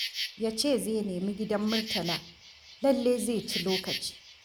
Ya ce zai nemi gidan Murtala, lallai zai ci lokaci.